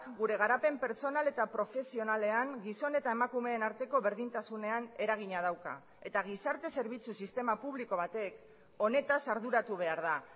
gure garapen pertsonal eta profesionalean gizon eta emakumeen arteko berdintasunean eragina dauka eta gizarte zerbitzu sistema publiko batek honetaz arduratu behar da